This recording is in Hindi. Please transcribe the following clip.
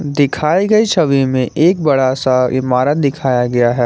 दिखाए गए छवि में एक बड़ा सा इमारत दिखाया गया है।